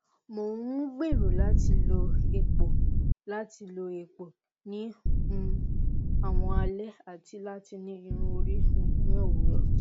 mo n um gbero lati lo epo lati lo epo ni um awọn alẹ ati lati ni irun ori um ni owurọ